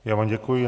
Já vám děkuji.